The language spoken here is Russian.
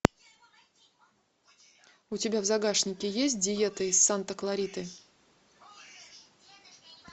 у тебя в загашнике есть диета из санта клариты